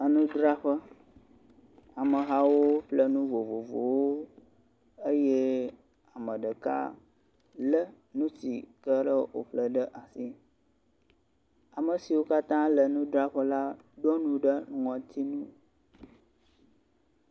Nudzraƒe amehawo ƒle nu vovovowo eye ame ɖeka le nusi woƒle ɖe asi ame siwo katã le nudzraƒe la ɖɔnu ɖe ŋɔtinu